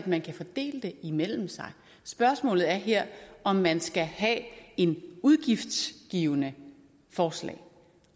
man kan fordele det imellem sig spørgsmålet er her om man skal have et udgiftsgivende forslag